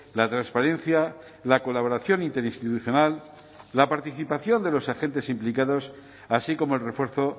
la transparencia la colaboración interinstitucional la participación de los agentes implicados así como el refuerzo